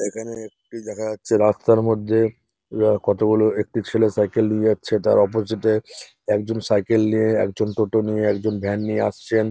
এইখানে একটি দেখা যাচ্ছে রাস্তার মধ্যে কতগুলো একটি ছেলে সাইকেল নিয়ে যাচ্ছে তার অপজিটে - এ একজন সাইকেল নিয়ে একজন টোটো নিয়ে একজন ভ্যান নিয়ে আসছেন।